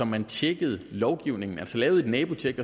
man tjekkede lovgivningen altså lavede et nabotjek